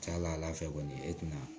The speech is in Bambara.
Ca ala fɛ kɔni e tɛna